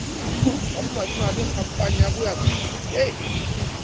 ka bomadimabe khampane ya boabiele